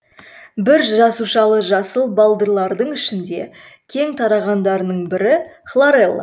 бір жасушалы жасыл балдырлардың ішінде кең тарағандарының бірі хлорелла